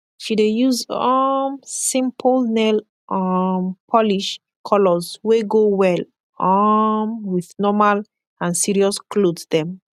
she dey yus um simpol nail um polish kolors wey go well um wit normal and sirios kloth dem